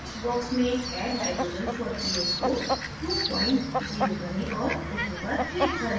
text box में add hydrogens for ph को 20 करें और ok पर click करें